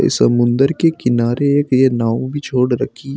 इस समुद्र के किनारे एक ये नाव भी छोड़ रखी--